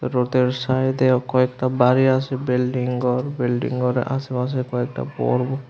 রোদের সাইদেও কয়েকতা বাড়ি আছে বিল্ডিং গর বিল্ডিং গরের আশেপাশে কয়েকটা বড়ো--